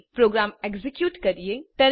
ચાલો program execute કરીએ